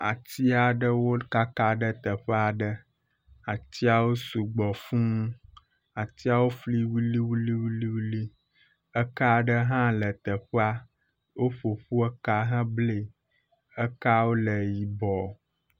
Atia aɖewo kaka ɖe teƒea ɖe. Atiawo sɔgbɔ fũu. Atiawo fli wuliwuliwuliwuli. Eka aɖe hã le teƒea, woƒoƒua ka heblae. Ekawo le yibɔ